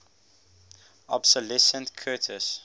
obsolescent curtiss